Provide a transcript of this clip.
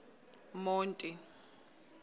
monti